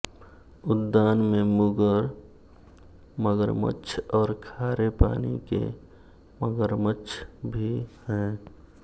उद्यान में मुगर मगरमच्छ और खारे पानी के मगरमच्छ भी हैं